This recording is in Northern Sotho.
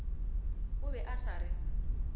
o be a sa re